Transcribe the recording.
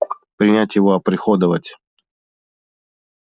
принять его оприходовать